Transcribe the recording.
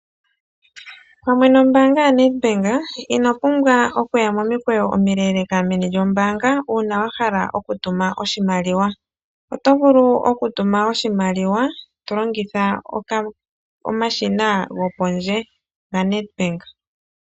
Pamwe nombaanga yoNedbank ino pumbwa okuya momikweyo omileeleka meni lyombaanga uuna wa hala okutuma oshimaliwa. Oto vulu okutuma oshimaliwa to longitha omashina gopondje gaNedbank.